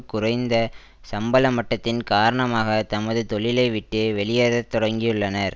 குறைந்த சம்பள மட்டத்தின் காரணமாக தமது தொழிலை விட்டு வெளியேற தொடங்கியுள்ளனர்